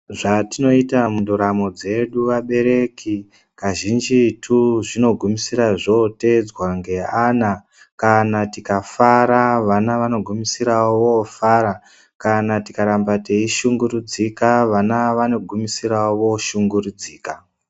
Zvatinoita mundaramo dzedu vabereki kazhinjitu zvino pedzisira zvotedzwa neana kana tikafara vana vano gumisirawo vofara kana tikaramba tei shungurudzika vana vano gumisirawo voshungurudzika.